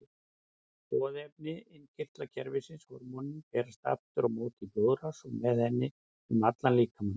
Boðefni innkirtlakerfisins, hormónin, berast aftur á móti í blóðrás og með henni um allan líkamann.